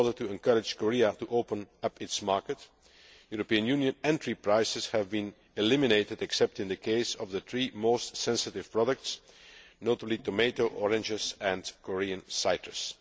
In order to encourage Korea to open up its market, European Union entry prices have been eliminated except in the case of the three most sensitive products tomatoes, oranges and Korean citrus.